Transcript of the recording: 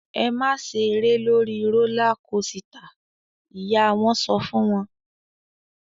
"Ẹ máa ṣeré lórí rólá kosità!" Ìyá wọn sọ fún wọn.